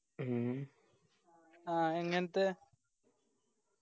ഉം ആ എങ്ങൻത്തെ